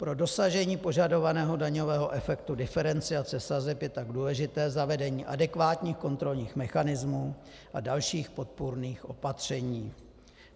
Pro dosažení požadovaného daňovému efektu diferenciace sazeb je tak důležité zavedení adekvátních kontrolních mechanismů a dalších podpůrných opatření.